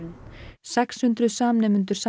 sex hundruð samnemendur